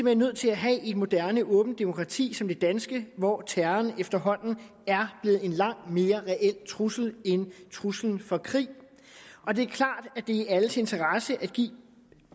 hen nødt til at have i et moderne åbent demokrati som det danske hvor terroren efterhånden er blevet en langt mere reel trussel end truslen fra krig det er klart at det er i alles interesse at give